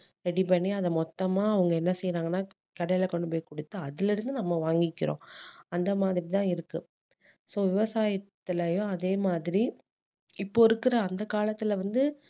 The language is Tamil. ready பண்ணி அதை மொத்தமா அவங்க என்ன செய்றாங்கன்னா கடையில கொண்டு போய் கொடுத்து அதுல இருந்து நம்ம வாங்கிக்கிறோம் அந்த மாதிரி தான் இருக்கு so விவசாயத்துலயும் அதே மாதிரி இப்போ இருக்குற அந்த காலத்துல வந்து